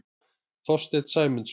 Þorstein Sæmundsson.